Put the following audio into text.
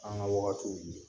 An ŋa wagatiw